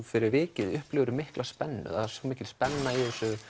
fyrir vikið upplifirðu mikla spennu það er mikil spenna í